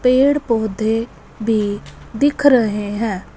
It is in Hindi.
पेड़ पौधे भीं दिख रहें हैं।